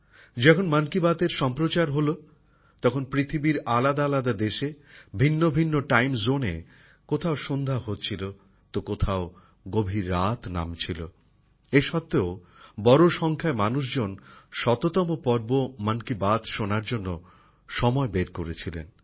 যখন মন কি বাতের সম্প্রচার হয় তখন পৃথিবীর আলাদাআলাদা দেশে ভিন্নভিন্ন টাইম জোনে কোথাও সন্ধ্যা হচ্ছিল তো কোথাও গভীর রাত ছিল তা সত্ত্বেও প্রচুর সংখ্যক মানুষ মন কি বাতএর শততম পর্ব শোনার জন্য সময় বের করেছিলেন